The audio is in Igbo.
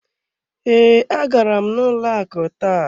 Ee, agara m n'ụlọ akụ taa.